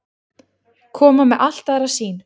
Koma með allt aðra sýn